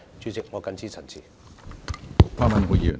主席，我謹此陳辭。